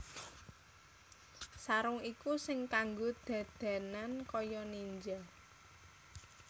Sarung iku sing kanggo dadanan kaya ninja